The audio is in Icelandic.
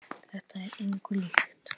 Þetta er engu líkt.